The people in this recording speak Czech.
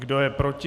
Kdo je proti?